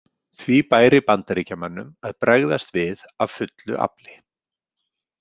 Því bæri Bandaríkjamönnum að bregðast við af fullu afli.